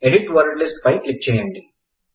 edit word list పై click చేయండి